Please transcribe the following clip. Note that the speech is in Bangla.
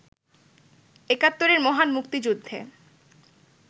একাত্তরের মহান মুক্তিযুদ্ধে